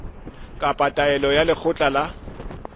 kapa taelo ya lekgotla la